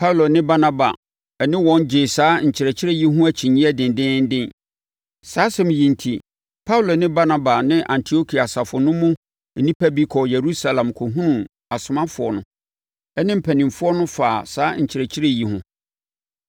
Paulo ne Barnaba ne wɔn gyee saa nkyerɛkyerɛ yi ho akyinnyeɛ dendeenden. Saa asɛm yi enti, Paulo ne Barnaba ne Antiokia asafo no mu nnipa bi kɔɔ Yerusalem kɔhunuu asomafoɔ no ne mpanimfoɔ faa saa nkyerɛkyerɛ yi ho.